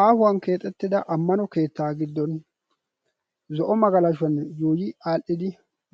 Aahuwan keexettida ammano keettaa giddon zo'o magalashuwan yuuyi aadhdhidi